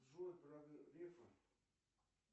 джой про грефа